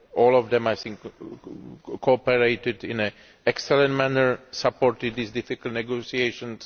All of them I think cooperated in an excellent manner and supported these difficult negotiations.